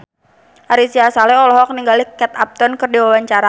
Ari Sihasale olohok ningali Kate Upton keur diwawancara